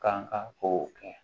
Kan ka kow kɛ